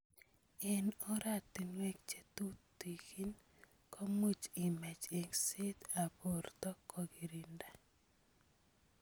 Eng oratunwek chetutikin komuch imach engset ab borto kokirinda.